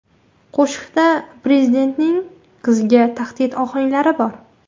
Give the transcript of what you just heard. Qo‘shiqda prezidentning qiziga tahdid ohanglari bor.